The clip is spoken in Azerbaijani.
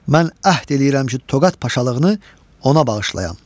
Mən əhd eləyirəm ki, Toqat paşalığını ona bağışlayam.